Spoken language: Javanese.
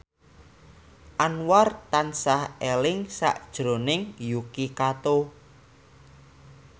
Anwar tansah eling sakjroning Yuki Kato